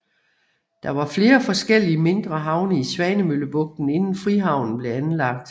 Der var flere forskellige mindre havne i Svanemøllebugten inden Frihavnen blev anlagt